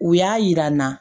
U y'a yira n na